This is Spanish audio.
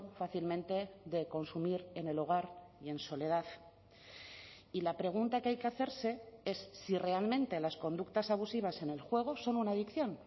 fácilmente de consumir en el hogar y en soledad y la pregunta que hay que hacerse es si realmente las conductas abusivas en el juego son una adicción